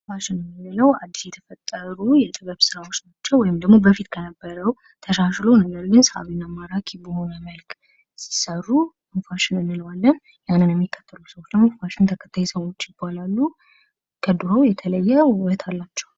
ፋሽን የሚለው አዲስ የተፈጠሩ የጥበብ ስራዎች ወይም ደግሞ በፊት ከነበረው ተሻሽሎ ነገርግን፤ ሳቢና ማራኪ በሆነ መልክ ሲሰሩ ፋሽን እንለዋለን። ይሃንን የሚከተሉ ሰዎች ደግሞ ፋሽን ተከታይ ሰዎች ይባላሉ። ከድሮ የተለየ ውበት አላቸው።